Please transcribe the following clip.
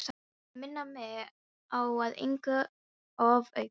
Til að minna mig á að engu er ofaukið.